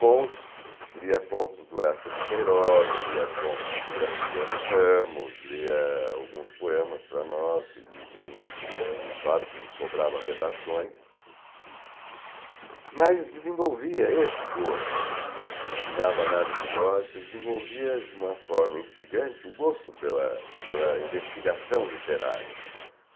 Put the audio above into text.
contos, lia contos do Eça de Queiroz, lia contos do Graciliano Ramos, lia alguns poemas para nós, e nos claro que nos cobrava redações, mas desenvolvia esse gosto, ensinava análise lógica, desenvolvia de uma forma instigante o gosto pela pela investigação literária.